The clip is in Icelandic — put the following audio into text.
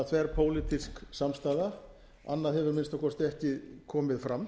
þverpólitísk samstaða annað hefur að minnsta kosti ekki komið fram